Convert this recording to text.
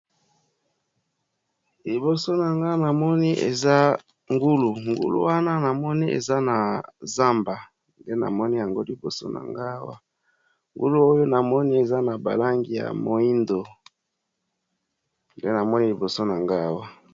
Liboso na nga namoni eza ngulu, ngulu wana namoni eza na zamba nde namoni yango liboso na nga awa, ngulu oyo namoni eza na balangi ya moyindo nde namoni liboso nanga awa.